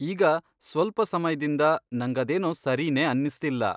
ಈಗ ಸ್ವಲ್ಪ ಸಮಯ್ದಿಂದ ನಂಗದೇನೋ ಸರಿನೇ ಅನ್ನಿಸ್ತಿಲ್ಲ.